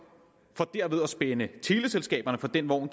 for derved at spænde teleselskaberne for den vogn